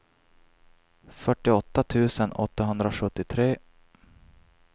fyrtioåtta tusen åttahundrasjuttiotre